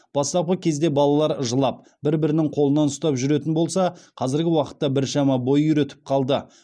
бастапқы кезде балалар жылап бір бірінің қолынан ұстап жүретін болса қазіргі уақытта біршама бой үйретіп қалды